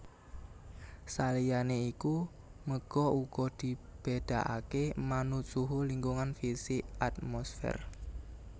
Saliyané iku méga uga dibédakaké manut suhu lingkungan fisik atmosfer